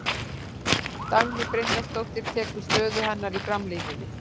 Dagný Brynjarsdóttir tekur stöðu hennar í framlínunni.